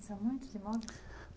São muitos imóveis?